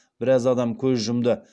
біраз адам көз жұмды